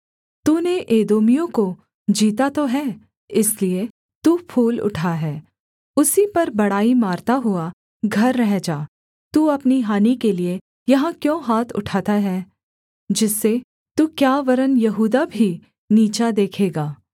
तूने एदोमियों को जीता तो है इसलिए तू फूल उठा है उसी पर बड़ाई मारता हुआ घर रह जा तू अपनी हानि के लिये यहाँ क्यों हाथ उठाता है जिससे तू क्या वरन् यहूदा भी नीचा देखेगा